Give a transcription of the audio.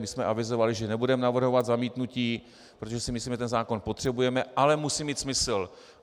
My jsme avizovali, že nebudeme navrhovat zamítnutí, protože si myslíme, že ten zákon potřebujeme, ale musí mít smysl.